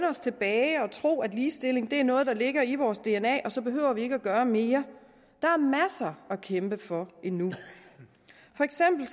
os tilbage og tro at ligestilling er noget der ligger i vores dna og så behøver vi ikke at gøre mere der er masser at kæmpe for endnu for eksempel